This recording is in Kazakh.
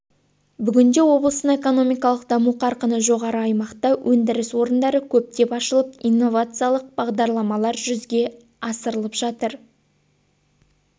бүгінде облыстың экономикалық даму қарқыны жоғары аймақта өндіріс орындары көптеп ашылып инновациялық бағдарламалар жүзге асырылып жатыр